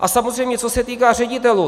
A samozřejmě co se týká ředitelů.